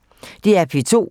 DR P2